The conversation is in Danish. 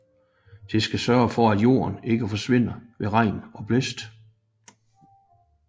Det skal sørge for at jorden ikke forsvinder ved regn og blæst